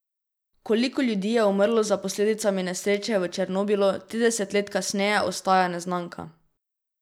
Koliko ljudi je umrlo za posledicami nesreče v Černobilu trideset let kasneje ostaja neznanka.